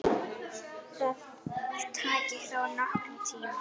Það taki þó nokkurn tíma.